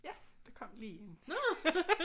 Ja der kom lige en